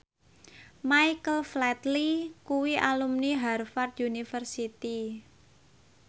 Michael Flatley kuwi alumni Harvard university